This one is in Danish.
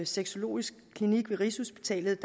sexologisk klinik ved rigshospitalet